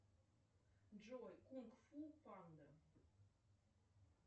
джой кунг фу панда